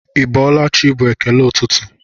Ịbọọlachi bụ ekele ụtụtụ.